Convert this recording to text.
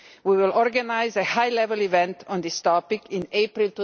We will organise a high-level event on this topic in April